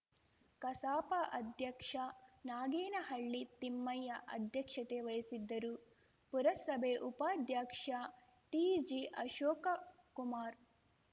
ಕಸಾಪ ಅಧ್ಯಕ್ಷ ನಾಗೇನಹಳ್ಳಿ ತಿಮ್ಮಯ್ಯ ಅಧ್ಯಕ್ಷತೆ ವಹಿಸಿದ್ದರು ಪುರಸಭೆ ಉಪಾಧ್ಯಕ್ಷ ಟಿಜಿ ಅಶೋಕಕುಮಾರ್‌